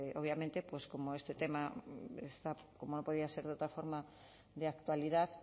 obviamente pues como este tema está como no podía ser de otra forma de actualidad